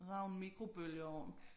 Og så har hun mikrobølgeovn